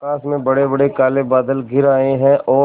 आकाश में बड़ेबड़े काले बादल घिर आए हैं और